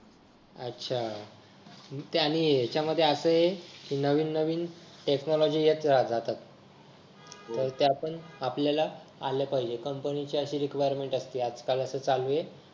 अच्छा मग त्यांनी ह्याच्यामध्ये असा आहे की नवीन नवीन टेक्नॉलॉजी येत जात राहतात मग ते आपण आपल्याला आल्या पाहिजेत कंपनीचे अशी रिक्वायरमेंट असते हे आजकाल असे चालू आहे